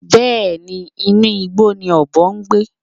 Bẹ́ẹ̀ni, inú igbó ni ọ̀bọ ń gbé